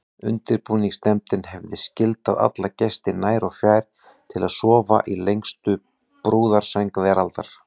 Undirbúningsnefndin hefði skyldað alla gesti nær og fjær til að sofa í lengstu brúðarsæng veraldar.